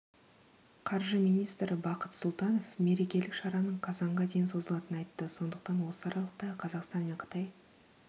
қаржы министрі бақыт сұлтанов мерекелік шараның қазанға дейін созылатынын айтты сондықтан осы аралықта қазақстан мен қытай